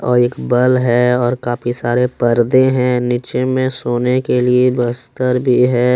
और एक बल है और काफी सारे पर्दे है। नीचे मे सोने के लिए बस्तर भी है।